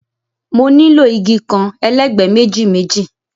Mo nílò igi kan, elegbe méjì méjì